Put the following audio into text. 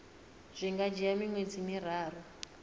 zwi nga dzhia miṅwedzi miraru